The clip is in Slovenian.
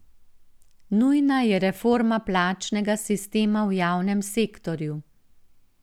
Nujna je reforma plačnega sistema v javnem sektorju.